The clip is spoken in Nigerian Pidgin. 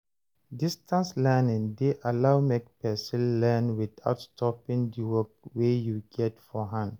Distance learning de allow make persin learn without stoping di work wey you get for hand